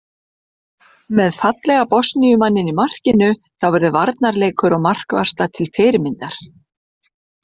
Með fallega Bosníu manninn í markinu þá verður varnarleikur og markvarsla til fyrirmyndar.